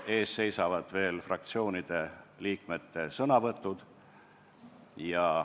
Ees seisavad veel fraktsioonide liikmete sõnavõtud.